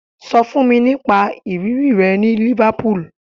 Sọ fún mi nípa ìrírí rẹ ní Liverpool